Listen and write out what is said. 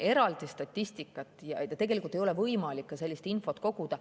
Eraldi statistikat ja tegelikult ei ole võimalik sellist infot ka koguda.